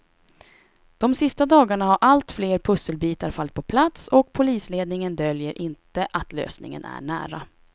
De sista dagarna har allt fler pusselbitar fallit på plats och polisledningen döljer inte att lösningen är nära.